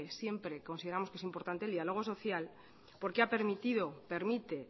siempre consideramos que es importante el diálogo social porque ha permitido permite